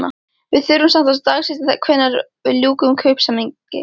Við þurfum samt að dagsetja hvenær við ljúkum kaupsamningi?